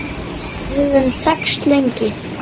Við höfum þekkst lengi.